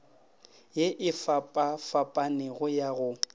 ye e fapafapanego ya go